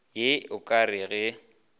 ye e ka re ge